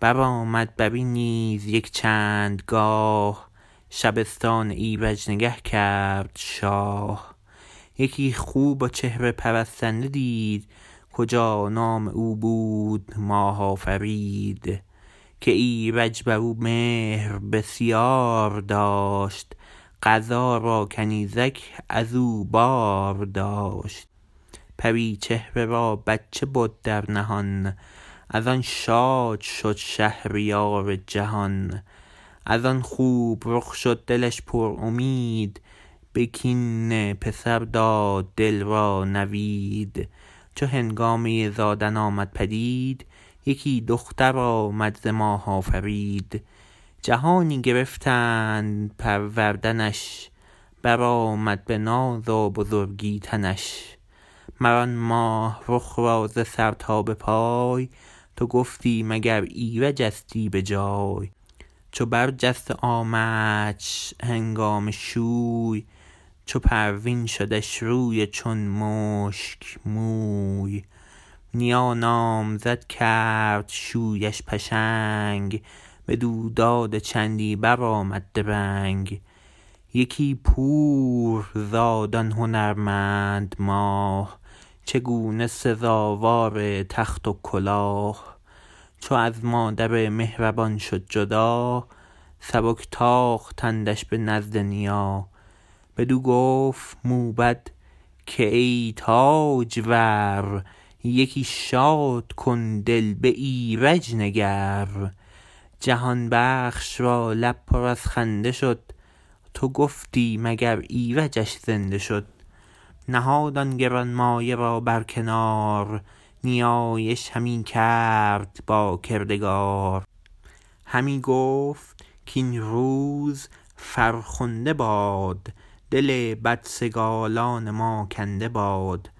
برآمد برین نیز یک چندگاه شبستان ایرج نگه کرد شاه یکی خوب و چهره پرستنده دید کجا نام او بود ماه آفرید که ایرج برو مهر بسیار داشت قضا را کنیزک ازو بار داشت پری چهره را بچه بود در نهان از آن شاد شد شهریار جهان از آن خوب رخ شد دلش پرامید به کین پسر داد دل را نوید چو هنگامه زادن آمد پدید یکی دختر آمد ز ماه آفرید جهانی گرفتند پروردنش برآمد به ناز و بزرگی تنش مر آن ماه رخ را ز سر تا به پای تو گفتی مگر ایرجستی به جای چو بر جست و آمدش هنگام شوی چو پروین شدش روی و چون مشک موی نیا نامزد کرد شویش پشنگ بدو داد و چندی برآمد درنگ یکی پور زاد آن هنرمند ماه چگونه سزاوار تخت و کلاه چو از مادر مهربان شد جدا سبک تاختندش به نزد نیا بدو گفت موبد که ای تاجور یکی شادکن دل به ایرج نگر جهان بخش را لب پر از خنده شد تو گفتی مگر ایرجش زنده شد نهاد آن گرانمایه را برکنار نیایش همی کرد با کردگار همی گفت کاین روز فرخنده باد دل بدسگالان ما کنده باد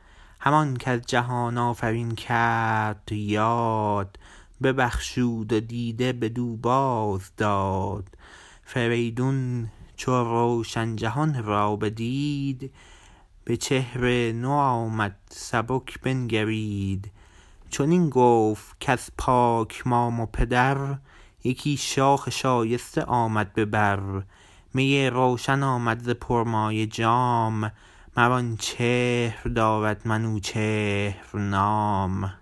همان کز جهان آفرین کرد یاد ببخشود و دیده بدو باز داد فریدون چو روشن جهان را بدید به چهر نوآمد سبک بنگرید چنین گفت کز پاک مام و پدر یکی شاخ شایسته آمد به بر می روشن آمد ز پرمایه جام مر آن چهر دارد منوچهر نام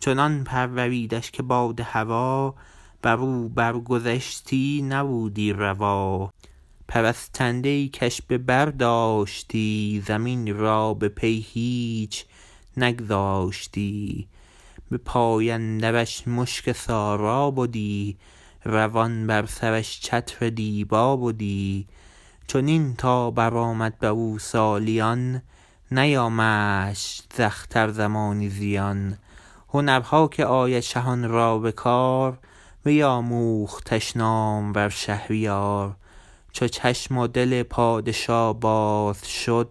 چنان پروریدش که باد هوا برو بر گذشتی نبودی روا پرستنده ای کش به بر داشتی زمین را به پی هیچ نگذاشتی به پای اندرش مشک سارا بدی روان بر سرش چتر دیبا بدی چنین تا برآمد برو سالیان نیامدش ز اختر زمانی زیان هنرها که آید شهان را به کار بیاموختش نامور شهریار چو چشم و دل پادشا باز شد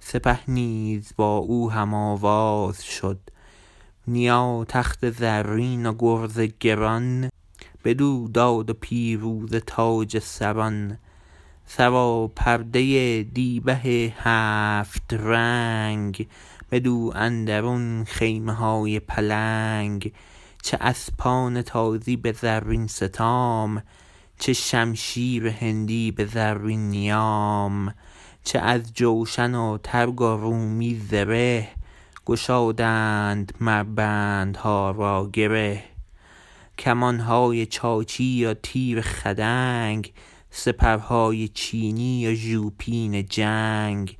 سپه نیز با او هم آواز شد نیا تخت زرین و گرز گران بدو داد و پیروزه تاج سران سراپرده دیبه هفت رنگ بدو اندرون خیمه های پلنگ چه اسپان تازی به زرین ستام چه شمشیر هندی به زرین نیام چه از جوشن و ترگ و رومی زره گشادند مر بندها را گره کمانهای چاچی وتیر خدنگ سپرهای چینی و ژوپین جنگ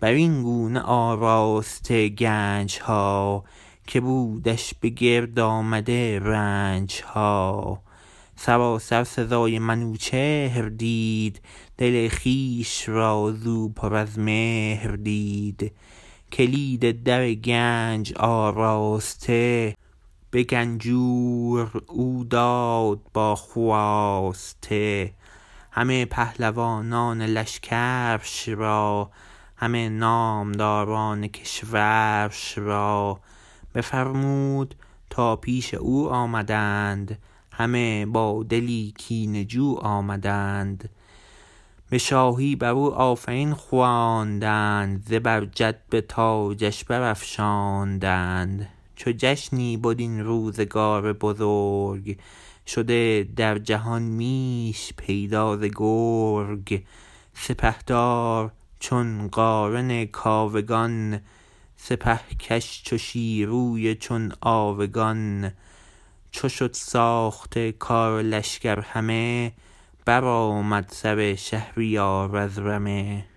برین گونه آراسته گنجها که بودش به گرد آمده رنجها سراسر سزای منوچهر دید دل خویش را زو پر از مهر دید کلید در گنج آراسته به گنجور او داد با خواسته همه پهلوانان لشکرش را همه نامداران کشورش را بفرمود تا پیش او آمدند همه با دلی کینه جو آمدند به شاهی برو آفرین خواندند زبرجد به تاجش برافشاندند چو جشنی بد این روزگار بزرگ شده در جهان میش پیدا ز گرگ سپهدار چون قارن کاوگان سپهکش چو شیروی و چون آوگان چو شد ساخته کار لشکر همه برآمد سر شهریار از رمه